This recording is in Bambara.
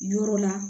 Yɔrɔ la